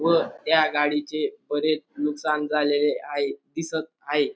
व त्या गाडीचे बरेच नुकसान झालेले आहे दिसत आहे.